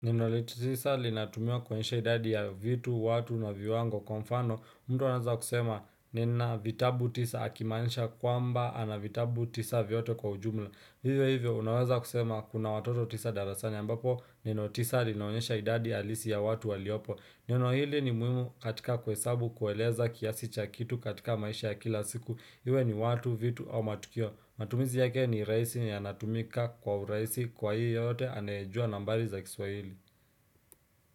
Neno litisa linatumiwa kuonyesha idadi ya vitu, watu, na viwango kwa mfano, mtu anaweza kusema nina vitabu tisa akimaanisha kwamba ana vitabu tisa vyote kwa ujumla. Vivyo hivyo, unaweza kusema kuna watoto tisa darasani ambapo, neno tisa linaonyesha idadi halisi ya watu waliopo. Neno hili ni muhimu katika kuhesabu kueleza kiasi cha kitu katika maisha ya kila siku. Iwe ni watu, vitu, au matukio. Matumizi yake ni rahisi na yanatumika kwa urahisi kwa yeyote anayejua nambari za kiswahili.